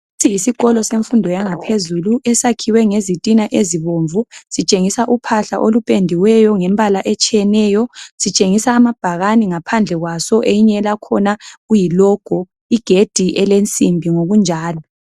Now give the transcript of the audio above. Lesi yisikolo semfundo yangaphezulu esakhiwe ngezitina ezibomvu. Sitshengisa uphahla olupendiweyo ngembala etshiyeneyo. Sitshengisa amabhakane ngaphandle kwaso eyinye lakhona kuyiLogo, igedi elensimbi ngokunjalo.